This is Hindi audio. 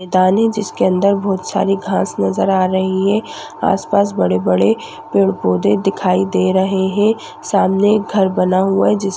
मैदान है जिसके अंदर बहोत सारी घांस नज़र आ रही है आसपास बड़े बड़े पेड़ पौधे दिखाई दे रहे हैं सामने एक घर बना हुआ है जिस --